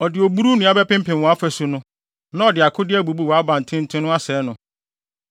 Ɔde oburuw nnua bɛpempem wʼafasu no, na ɔde akode abubu wʼabantenten no asɛe no.